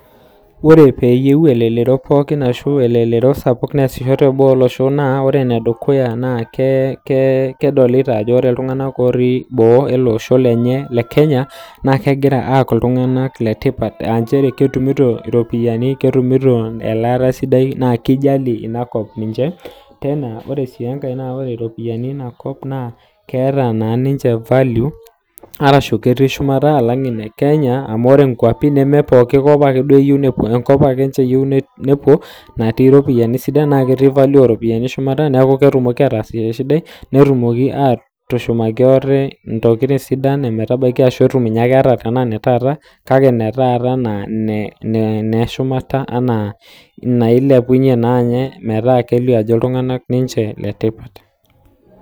Ore peeyeu olerereo pookin ashu elelero sapuk neasisho te booa ashu naa ore nedukuya naa kedolita ajo ore iltungana lotii boo ele losho le le Kenya, naa kegira aaku iltunganak le tipat aa inchere ketumuto iropiyiani, ketumuto elaata sidai naa keijali iniakop ninche, naa ore si enkae naa ore iropiyiani einakop naa keata naa ninche value arashu ketii shumata alang ene Kenya amu ore enkuapi nemee pookin ake iyie, enkop aka eyeu ninche nepuo natii iropiyiani sidan naa ketii value ooropiyiani shumata naaku ketumoki ataas esiyai sidai, netumoki aatushumaki ate ntokitin sidan metabaki ashu naa keata nkanan etaata, kake netaata anaa ene nashumata anaa nailiapunye naa ninye metaa kedol ajo iltungana ninche le tipat.